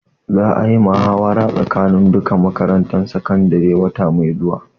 Za a yi gasar muhawara tsakanin duka makarantun sakandare wata mai zuwa